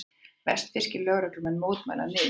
Vestfirskir lögreglumenn mótmæla niðurskurði